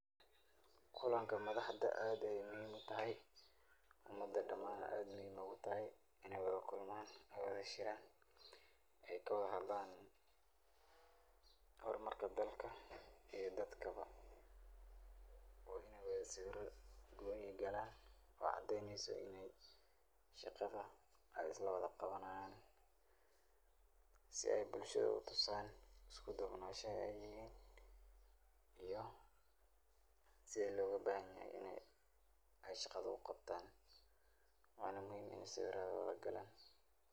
Kulanga madaxda aad Aya muhim utahaya, umada dhamn aad Aya utahaya Ina Wala kulmaan oo Sheeran, ay kawala hadlan hormarka dalka eyo dadkabo oo ini seweera kooni kalan wacadeeyneysoh ini shaqada ay islawatha qawanayan si ay bulshada u toosaan iskuduunasha ay yahin iyo sethi loga bahanyahay ini Aya shada qabtaan Wana muhim Ina saweerada galan.